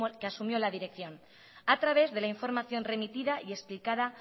que asumió la dirección a través de la información remitida y explicada